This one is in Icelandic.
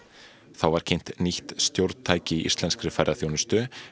þá var kynnt nýtt stjórntæki í íslenskri ferðaþjónustu